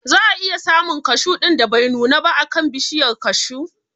Za a iya samun kashu ɗin da bai nuna ba a kan bishiyar kashu